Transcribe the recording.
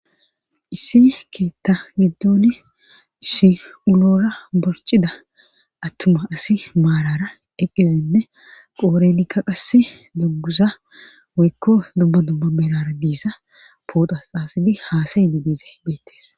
Issi keetta giddoni issi bora borcida attuma asi maalara eqqizinne qoorenikka qass dunguza woykko dumma dumma beerara diisa poota xaasibi haasayidi beettes